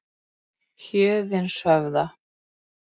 Héðinshöfða